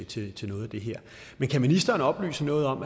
til til noget af det her men kan ministeren oplyse noget om